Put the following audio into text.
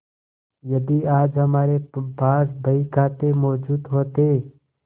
यदि आज हमारे पास बहीखाते मौजूद होते